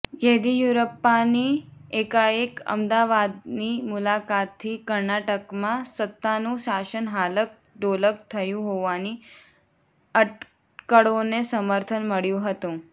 યેદિયુરપ્પાની એકાએક અમદાવાદની મુલાકાતથી કર્ણાટકમાં સત્તાનું શાસન હાલક ડોલક થયું હોવાની અટકળોને સમર્થન મળ્યું હતું